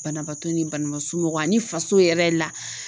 Banabaatɔ ni banabaa somɔgɔ ani faso yɛrɛ la